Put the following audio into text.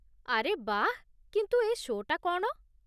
ଆରେ ବାଃ! କିନ୍ତୁ ଏ ଶୋ' ଟା କ'ଣ?